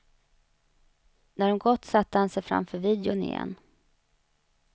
När de gått satte han sig framför videon igen.